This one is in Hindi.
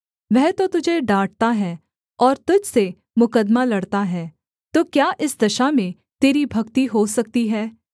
वह तो तुझे डाँटता है और तुझ से मुकद्दमा लड़ता है तो क्या इस दशा में तेरी भक्ति हो सकती है